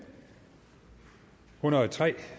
hundrede og tre